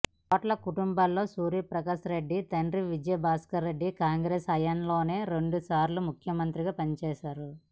కోట్ల కుటుంబంలో సూర్య ప్రకాష్ రెడ్డి తండ్రి విజయ భాస్కర రెడ్డి కాంగ్రెస్ హయాంలోనే రెండు సార్లు ముఖ్యమంత్రిగా పనిచేశారు